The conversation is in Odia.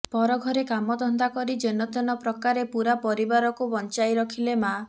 ପରଘରେ କାମଧନ୍ଦା କରି ଯେନତେନ ପ୍ରକାରେ ପୁରା ପରିବାରକୁ ବଂଚାଇ ରଖିଲେ ମାଆ